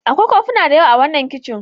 Akwai kofuna da yawa a wannan kicin.